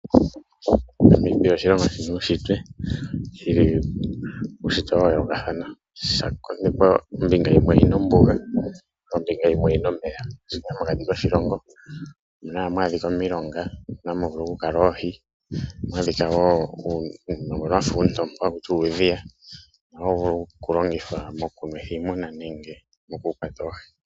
Namibia oshilongo shina uushitwe shina uushitwe wa yoolokathana. Osha konekwa ombinga yimwe oyina ombuga ombinga yimwe oyina omeya mokati koshilongo ohamu adhika omilonga mono hamu vulu oku kala oohi . Ohamu adhika woo uunima mboko wafa oontopa hakutiwa uudhiya mbono hawu vulu okulongithwa moku nwetha iimuna nenge moku kwata oohi.